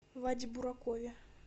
ваде буракове